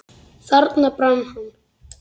Þarna brann hann.